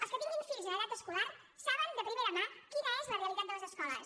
els que tinguin fills en edat escolar saben de primera mà quina és la realitat de les escoles